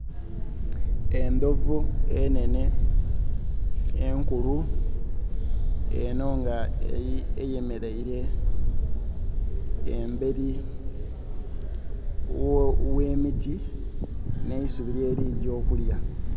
Endhovu enhenhe enkulu enho nga eyemeleire emberi ghe miti n'eisubi lyeli gya okulya.